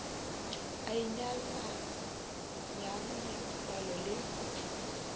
a inyalanyang le dipallo le